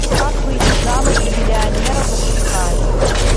как выйти замуж за миллионера запускай